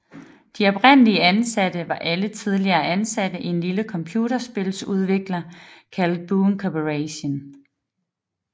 De oprindelige ansatte var alle tidligere ansatte i en lille computerspiludvikler kaldet Boone Corporation